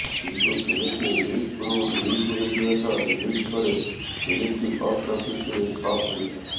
କିନ୍ତୁ ଫିଲ୍ମଟି ରିଲିଜ୍ ପୂର୍ବରୁ ଲିକ୍ ହୋଇଯିବା ସହ ରିଲିଜ୍ ପରେ ଫିଲ୍ମଟି ବକ୍ସ ଅଫିସରେ ଫ୍ଲପ୍ ହୋଇଥିଲା